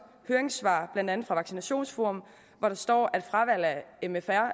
høringssvar blandt andet fra vaccinationsforum hvor der står at fravalg af mfr